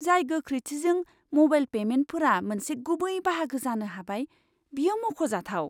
जाय गोख्रैथिजों म'बाइल पेमेन्टफोरा मोनसे गुबै बाहागो जानो हाबाय, बेयो मख'जाथाव!